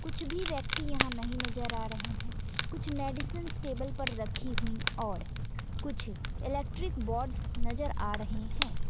कुछ भी व्यक्ति यहां नहीं नजर आ रहे हैं कुछ मेडिसिंस टेबल पर रखी हुई और कुछ इलेक्ट्रिक बोर्ड्स नजर आ रहे हैं।